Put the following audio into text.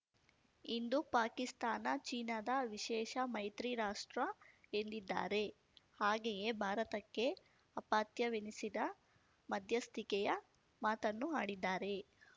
ಇಂದು ಪಾಕಿಸ್ತಾನ ಚೀನಾದ ವಿಶೇಷ ಮೈತ್ರಿ ರಾಷ್ಟ್ರ ಎಂದಿದ್ದಾರೆ ಹಾಗೆಯೇ ಭಾರತಕ್ಕೆ ಅಪತ್ಯವೆನಿಸಿದ ಮಧ್ಯಸ್ತಿಕೆಯ ಮಾತನ್ನು ಆಡಿದ್ದಾರೆ